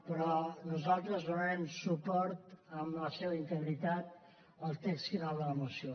però nosaltres donarem suport en la seva integritat al text final de la moció